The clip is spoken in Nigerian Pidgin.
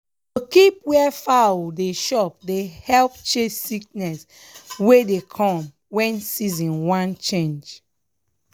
to keep where foul dey chop dey help chase sickness wey dey come when season wan change.